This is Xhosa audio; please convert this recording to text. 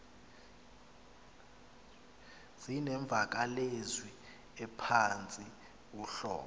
zinemvakalezwi ephantsi uhlobo